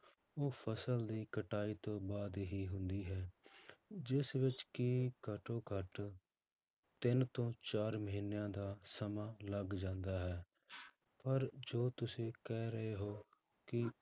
ਉਹ ਫਸਲ ਦੀ ਕਟਾਈ ਤੋਂ ਬਾਅਦ ਹੀ ਹੁੰਦੀ ਹੈ ਜਿਸ ਵਿੱਚ ਕਿ ਘੱਟੋ ਘੱਟ ਤਿੰਨ ਤੋਂ ਚਾਰ ਮਹੀਨਿਆਂ ਦਾ ਸਮਾਂ ਲੱਗ ਜਾਂਦਾ ਹੈ ਪਰ ਜੋ ਤੁਸੀਂ ਕਹਿ ਰਹੇ ਹੋ ਕਿ